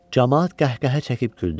Camaat qəhqəhə çəkib güldü.